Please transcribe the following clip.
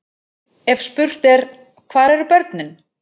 Ef spurt er: hvar eru börnin?